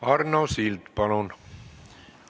Arno Sild, palun!